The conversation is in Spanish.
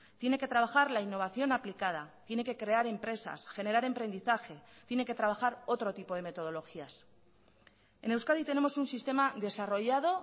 tiene que trabajar la innovación aplicada tiene que crear empresas generar emprendizaje tiene que trabajar otro tipo de metodologías en euskadi tenemos un sistema desarrollado